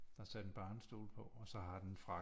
Der er sat en barnestol på og så har den